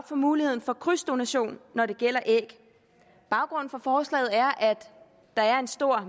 for muligheden for krydsdonation når det gælder æg baggrunden for forslaget er at der er stor